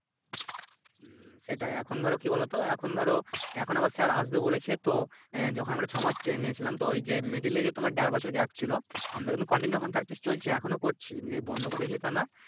হুম সেটাই এখন ধরো কি বলোতো এখন ধরো এখন আবার স্যার আসবে বলেছে তো যখন আমরা ছয় মাস ট্রেইন নিয়েছিলাম তো ওই যে Middle এ যে তোমার দেড় বছর গ্যাপ ছিলো আমরা কিন্তু Continue এখন Practice চলছে এখনো ও করছি যে বন্ধ করে দিয়েছে তা না